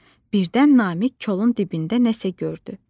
Birdən Namiq kolun dibində nə isə gördü.